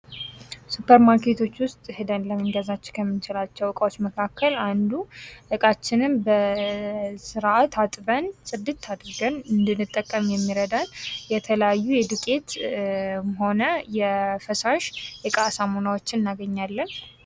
ሱፐር ማርኬቶች ውስጥ ሂደን ልንገዛ ከምንቸላቸው እቃዎች መካከል አንዱ ዕቃችንን በስርዓት አጥበን ፣ ፅድት አድርገን እንድንጠቀም የሚረዳን የተለያዩ የዱቄትም ሆነ የፈሳሽ የእቃ ሳሙናዎችን እናገኛለን ።